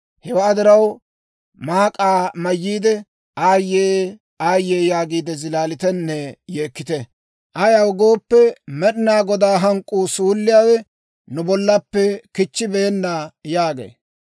Hewaa diraw, maak'aa mayyiide, ‹Aayyee! Aayye!› yaagiide zilaalitenne yeekkite. Ayaw gooppe, Med'inaa Godaa hank'k'uu suulliyaawe nu bollappe kichchibeenna» yaagee.